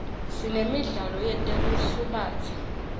sinemidlalo yetekusubatsa